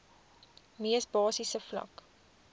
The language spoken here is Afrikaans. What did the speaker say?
mees basiese vlak